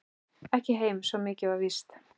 Ekki heim, svo mikið var víst.